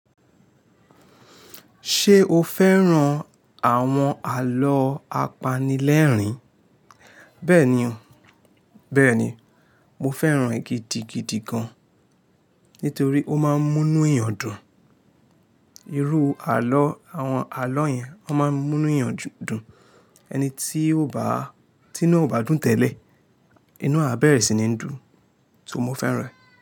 Ṣé o fẹ́ràn àwọn alọ́ apanilẹ́rìn? Bẹ́ẹ̀ni o, bẹ́ẹ̀ni. Mo fẹ́ràn e gidigidi gan-an nítorí ó máa ń mú inú èèyàn dùn. Irú alọ́, àwọn alọ́ yẹn wọ́n máa ń mú inú èèyàn dùn. Ẹni tí inu ò bá dùn tẹ́lẹ̀, inú à bẹ̀rẹ̀ sí ní dùn, so mọ fẹ́ràn ẹ́.